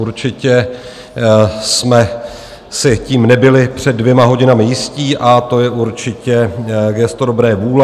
Určitě jsme si tím nebyli před dvěma hodinami jistí, a to je určitě gesto dobré vůle.